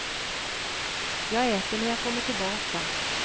Jag äter när jag kommer tillbaka.